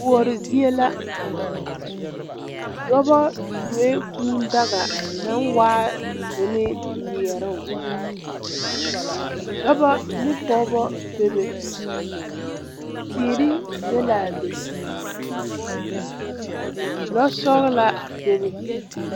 Kouri zie la dɔbɔ tuoee kūū daga naŋ waa zunee meɛɛroŋ dɔbɔ ne pɔɔbɔ bebe teere be laa be lɔ sɔglaa bebe.